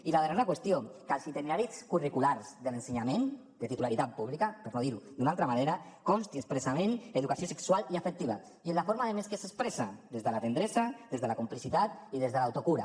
i la darrera qüestió que en els itineraris curriculars de l’ensenyament de titularitat pública per no dirho d’una altra manera consti expressament educació sexual i afectiva i en la forma a més que s’expressa des de la tendresa des de la complicitat i des de l’autocura